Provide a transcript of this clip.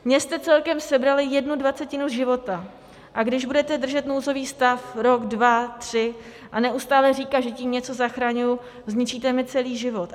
Mně jste celkem sebrali jednu dvacetinu života, a když budete držet nouzový stav rok, dva, tři a neustále říkat, že tím něco zachraňuji, zničíte mi celý život.